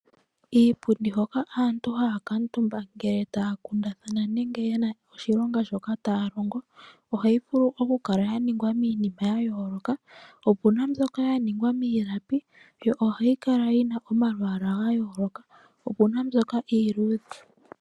Kiipundi hoka aantu haya kuutumba ngele taya kundathana nenge yena oshilonga shoka taya longo ohayi vulu oku kala yalongwa miinima yayooloka. Opena ndyoka yaningwa miilapi ohayi kala yina omalwaala gayooloka opena ndyoka iiludhe.